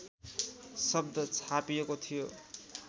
शब्द छापिएको थियो